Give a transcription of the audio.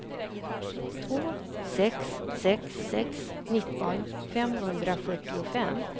två sex sex sex nitton femhundrafyrtiofem